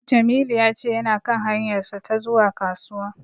Jamilu ya ce yana kan hanyarsa ta zuwa Kasuwa.